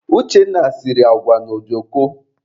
Uchenna siri agwa na ojoko.